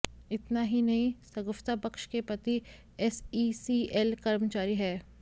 इतना ही नही सगुफ्ता बख्श के पति एसईसीएल कर्मचारी है